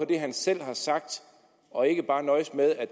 det han selv har sagt og ikke bare nøjes med